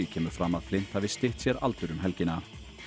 kemur fram að Flint hafi stytt sér aldur um helgina